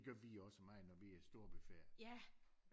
Gjorde vi også meget når vi er i storbyferier